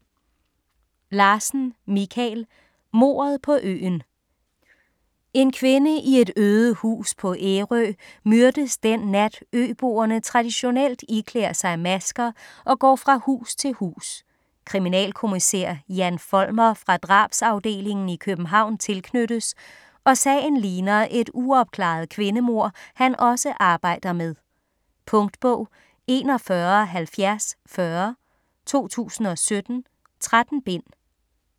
Larsen, Michael: Mordet på øen En kvinde i et øde hus på Ærø myrdes den nat, øboerne traditionelt iklæder sig masker og går fra hus til hus. Kriminalkommissær Jan Folmer fra Drabsafdelingen i København tilknyttes, og sagen ligner et uopklaret kvindemord, han også arbejder med. Punktbog 417040 2017. 13 bind.